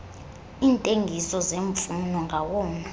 iintengiso zemfuyo ngawona